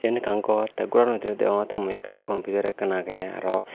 iyen ekkan gor tey gorano bidiri degongottey mui ekkan computer ekkan agey aro.